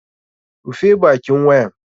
Rufe bakin wayan!